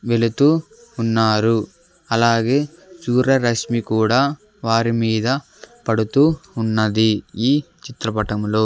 వెళుతూ ఉన్నారు అలాగే సూర్యరశ్మి కూడా వారి మీద పడుతూ ఉన్నది ఈ చిత్రపటములో.